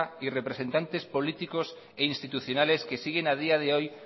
y representantes políticas e institucionales que siguen a día de hoy